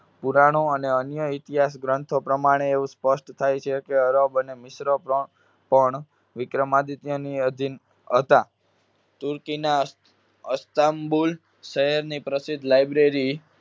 પુરાણો અને અન્ય ઇતિહાસગ્રંથો પ્રમાણે એવું સ્પષ્ટ થાય છે કે અરબ અને મિશ્ર પ્ર~પણ વિક્રમાદિત્યની આધીન હતા. તુર્કીના અસ્તામ્બુલ શહેરની પ્રસિદ્ધ library